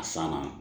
A san na